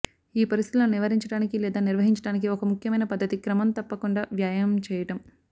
ఈ పరిస్థితులను నివారించడానికి లేదా నిర్వహించడానికి ఒక ముఖ్యమైన పద్ధతి క్రమం తప్పకుండా వ్యాయామం చేయడం